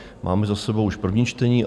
Máme za sebou už první čtení.